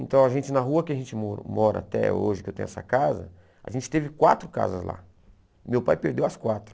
Então a gente na rua que a gente mora até hoje, que eu tenho essa casa, a gente teve quatro casas lá, meu pai perdeu as quatro.